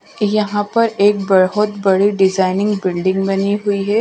यहां पर एक बहुत बड़ी डिजाइनिंग बिल्डिंग बनी हुई है।